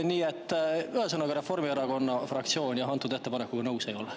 Nii et ühesõnaga, Reformierakonna fraktsioon selle ettepanekuga nõus ei ole.